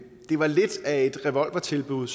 var lidt af et revolvertilbud